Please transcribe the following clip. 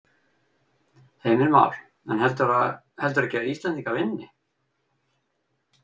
Heimir Már: En heldurðu ekki að Íslendingar vinni?